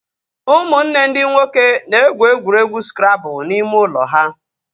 Ụmụnne ndị nwoke na-egwu egwuregwu skrabụl n'ime ụlọ ha